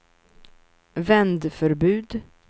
vändförbud